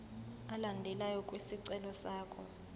alandelayo kwisicelo sakho